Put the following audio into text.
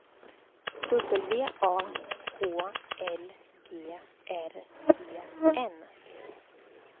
W A H L G R E N